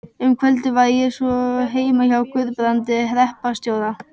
Um kvöldið var ég svo heima hjá Guðbrandi hreppstjóra.